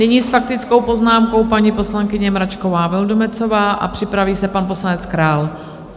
Nyní s faktickou poznámkou paní poslankyně Mračková Vildumetzová a připraví se pan poslanec Král.